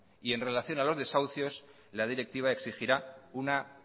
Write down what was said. y en relación a los desahucios la directiva exigirá una